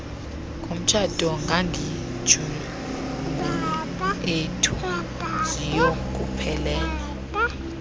ngomtshato kaguguiethu ziyokuphelela